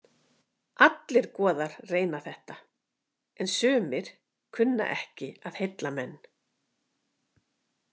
Allir goðar reyna þetta en sumir kunna ekki að heilla menn.